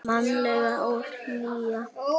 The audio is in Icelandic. Mannleg hlýja og nánd.